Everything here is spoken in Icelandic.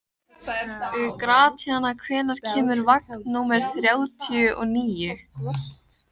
Gratíana, hvenær kemur vagn númer þrjátíu og níu?